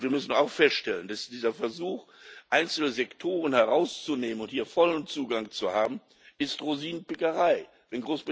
Wir müssen auch feststellen, dass dieser Versuch, einzelne Sektoren herauszunehmen und hier vollen Zugang zu haben, Rosinenpickerei ist.